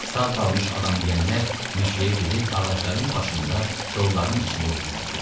Sağ qalmış adam yeyənlər meşəyə girib ağacların başında, kollarnın içində gizləndilər.